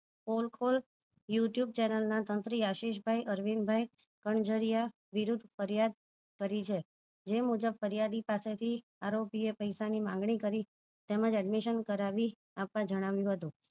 ફોને call youtube channel ના તંત્રી આશિષભાઈ અણજરીયા વિરોધ ફરિયાદ કરી છે જે મુજબ ફરિયાદી પાસે થી આરોપી એ પૈસા ની માંગણી તેમજ admission કરાવી આપવા જણાવ્યું હતું